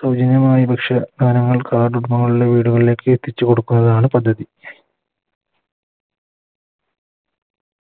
സൗജന്യമായ ഭക്ഷ്യ സാധനങ്ങൾ Card കൾ ഉള്ള വീടുകളിലേക്ക് എത്തിച്ചു കൊടുക്കുകന്നതാണ് പദ്ധതി